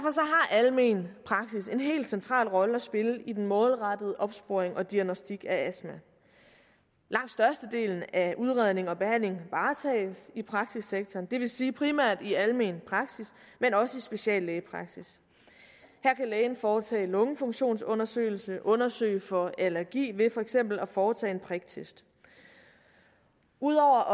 almen praksis en helt central rolle at spille i den målrettede opsporing og diagnosticering af astma langt størstedelen af udredning og behandling varetages i praksissektoren det vil sige primært i almen praksis men også i speciallægepraksis her kan lægen foretage lungefunktionsundersøgelse undersøge for allergi ved for eksempel at foretage en priktest udover